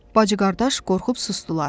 Bacı-qardaş qorxub susdular.